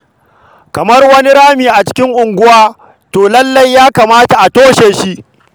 Kamar wani rami a cikin unguwa, to lallai ya kamata a toshe shi.